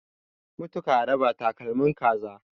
mutu karaba takalmin kaza